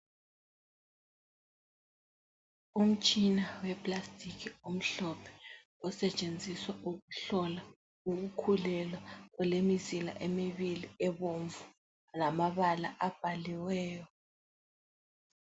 Umtshina we plastic omhlophe , osetshenziswa ukuhlola ukukhulelwa .Olemizila emibili ebomvu lamabala abhaliweyo.